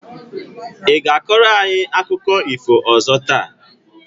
I ga-akọrọ anyị akụkọ ifo ọzọ taa?